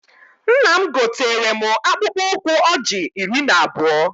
Nna m gotere mụ akpụkpụ ụkwụ ọjị iri na abụọ